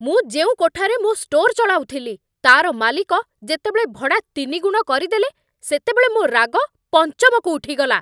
ମୁଁ ଯେଉଁ କୋଠାରେ ମୋ ଷ୍ଟୋର୍ ଚଳାଉଥିଲି, ତା'ର ମାଲିକ ଯେତେବେଳେ ଭଡ଼ା ତିନିଗୁଣ କରିଦେଲେ, ସେତେବେଳେ ମୋ ରାଗ ପଞ୍ଚମକୁ ଉଠିଗଲା।